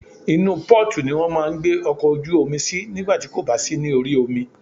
Inú port ni wọ́n máà ń gbé ọkọ̀ ojú omi sí nígbà tí kò bá sí ní orí omi.